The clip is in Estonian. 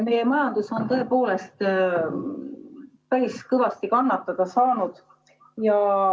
Meie majandus on tõepoolest päris kõvasti kannatada saanud.